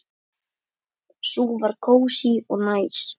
Sú var kósí og næs.